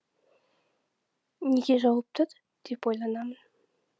неге жауып тұр деп ойланамын